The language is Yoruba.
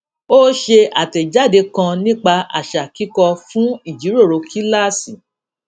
ó ṣe àtẹjáde kan nípa àṣà kíkọ fún ìjíròrò kíláàsì